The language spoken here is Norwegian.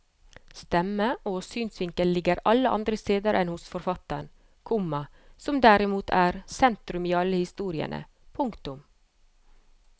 Stemme og synsvinkel ligger alle andre steder enn hos forfatteren, komma som derimot er sentrum i alle historiene. punktum